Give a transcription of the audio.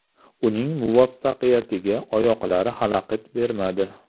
Uning muvaffaqiyatiga oyoqlari xalaqit bermadi.